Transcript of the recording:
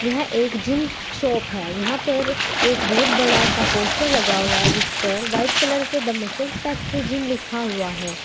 यह एक gym shop है यहां पर एक बहुत बड़ा सा पोस्टर लगा हुआ है जिस पर वाइट कलर से द मसल्स फैक्ट्री जिम लिखा हुआ है।